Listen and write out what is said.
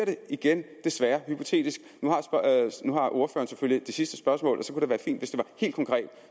igen desværre hypotetisk nu har ordføreren selvfølgelig det sidste spørgsmål og